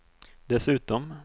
dessutom